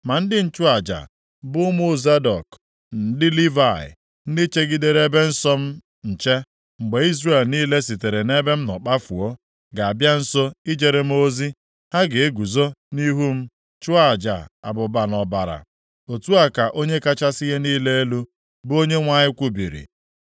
“ ‘Ma ndị nchụaja, bụ ụmụ Zadọk, ndị Livayị, ndị chegidere ebe nsọ m nche, mgbe Izrel niile sitere nʼebe m nọ kpafuo, ga-abịa nso ijere m ozi, ha ga-eguzo nʼihu m chụọ aja abụba na ọbara. Otu a ka Onye kachasị ihe niile elu, bụ Onyenwe anyị kwubiri.